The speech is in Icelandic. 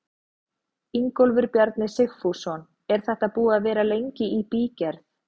Ingólfur Bjarni Sigfússon: Er þetta búið að vera lengi í bígerð?